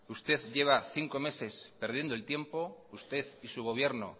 usted lleva cinco meses perdiendo el tiempo usted y su gobierno